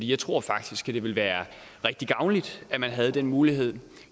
jeg tror faktisk at det ville være rigtig gavnligt at man havde den mulighed